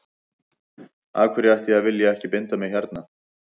Af hverju ætti ég að vilja ekki binda mig hérna.